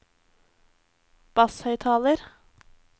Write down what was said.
basshøyttaler